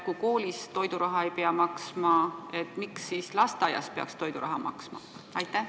Kui koolis toiduraha ei pea maksma, miks siis lasteaias peaks toiduraha maksma?